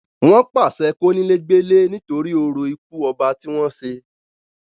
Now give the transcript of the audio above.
wọ́n pàṣẹ kónílé gbélé nítorí orò ikú ọba tí wọ́n ṣe